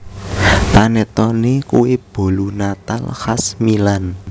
Panettone kue bolu natal khas Milan